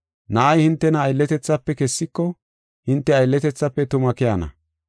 Na7ay hintena aylletethafe kessiko hinte aylletethafe tuma keyana.